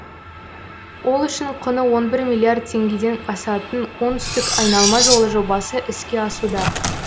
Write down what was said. ол үшін құны он бір миллиард теңгеден асатын оңтүстік айналма жолы жобасы іске асуда